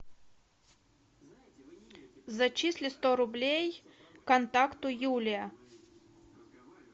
зачисли сто рублей контакту юлия